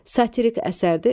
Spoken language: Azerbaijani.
Satirik əsərdir.